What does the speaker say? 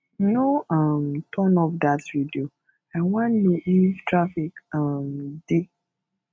no um turn off dat radio i wan know if traffic um dey